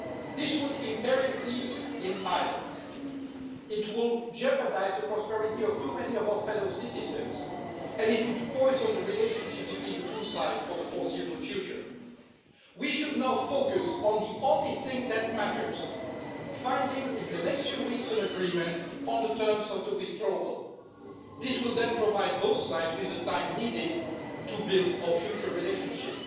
This would imperil peace in Ireland, it would jeopardise the prosperity of too many of our fellow citizens, and it would poison the relationship between the two sides for the foreseeable future. We should now focus on the only thing that matters, namely finding, in the next few weeks, an agreement on the terms of the withdrawal. This will then provide both sides with the time needed to build our future relationship